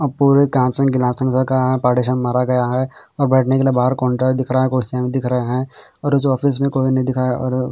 अब पूरे काँच के गिलास का पार्टीशीअन मारा गया है और बैठने के लिए बाहर काउंटर दिख रहे हैं कुर्सियाँ दिख रही हैं और इस ऑफिस में कोई नही दिख रहा हैं और--